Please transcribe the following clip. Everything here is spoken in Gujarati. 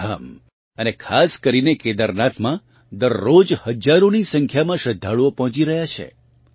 ચારધામ અને ખાસ કરીને કેદારનાથમાં દરરોજ હજ્જારોની સંખ્યામાં શ્રદ્ધાળુઓ પહોંચી રહ્યા છે